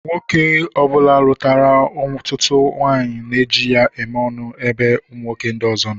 Nwoke ọbula lutara ọtụtụ nwaanyị na eji ya eme ọnụ na ebe nwoke ndi ọzọ nọ.